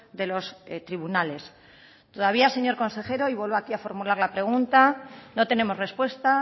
de los tribunales todavía señor consejero y vuelvo aquí a formular la pregunta no tenemos respuesta